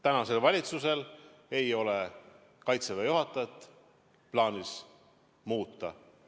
Tänasel valitsusel ei ole plaanis Kaitseväe juhatajat muuta.